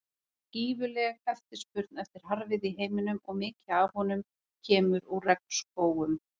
Það er gífurleg eftirspurn eftir harðviði í heiminum og mikið af honum kemur úr regnskógum.